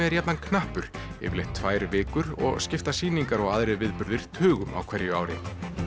er jafnan knappur jafnan tvær vikur og skipta sýningar og aðrir viðburðir tugum á hverju ári